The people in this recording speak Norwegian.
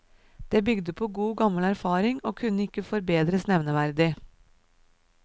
Det bygde på god, gammel erfaring og kunne ikke forbedres nevneverdig.